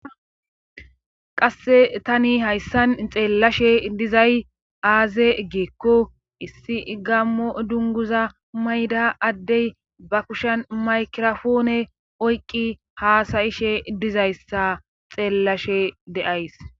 qasse tani hayssan xeellashe dizay aaze geekko issi gammo dunguza mayda addey ba kushen maykrofoone oyqqi haasayishe dizayssa xeellashe deays